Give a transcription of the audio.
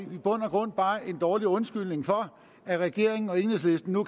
bund og grund bare en dårlig undskyldning for at regeringen og enhedslisten nu